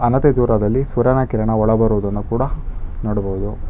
ಅಣತೆ ದೂರದಲ್ಲಿ ಸೂರ್ಯನ ಕಿರಣ ಒಳ ಬರುವುದನ್ನು ಕೂಡ ನೋಡಬಹುದು.